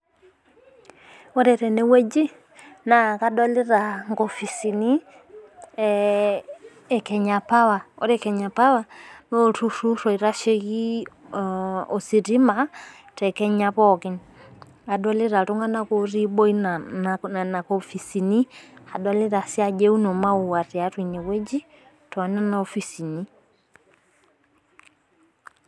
ore teneweji naa kadolita inkopisini ekenya power ore kenya power naa olturur oitasheki ositima tekenya pooki ,adolita iltung'anak otii inaboo enana kopisini adolita sii ajo euno imawua teboo enana kopisini.